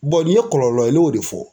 nin ye kɔlɔlɔ ye ne y'o de fɔ.